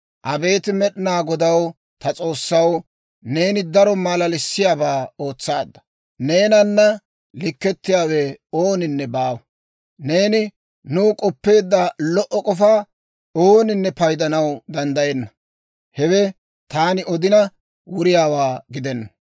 Abeet Med'inaa Godaw, ta S'oossaw, neeni daro malalissiyaabaa ootsaadda; Neenana likkettiyaawe ooninne baawa! Neeni nuw k'oppeedda lo"o k'ofaa ooninne paydanaw danddayenna. Hewe taani odina, wuriyaawaa gidenna.